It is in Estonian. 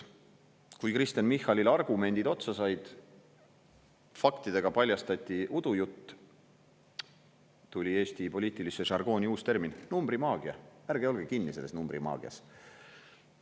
Kui Kristen Michalil argumendid otsa said, faktidega paljastati udujutt, tuli Eesti poliitilisse žargooni uus termin: numbrimaagia, ärge olge kinni selles numbrimaagias.